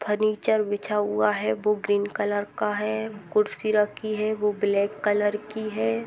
Furniture बिछा हुआ है वो ग्रीन कलर का है कुर्शी रखी है वो ब्लेक कलर की है।